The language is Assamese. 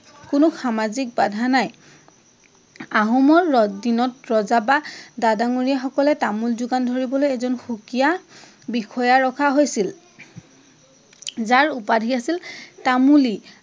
কোনো সামাজিক বাধা নাই। আহোমৰ দিনত ৰজা বা ডা ডাঙৰীয়া সকলে তামোল যোগান ধৰিবলৈ এজন সুকীয়া বিষয়া ৰখা হৈছিল। যাৰ উপাধি আছিল তামূলী